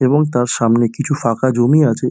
এবং তার সামনে কিছু ফাঁকা জমি আছে।